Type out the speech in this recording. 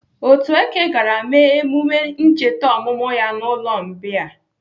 Otueke gara mee emume ncheta ọmụmụ ya n'ụlọ mbìa..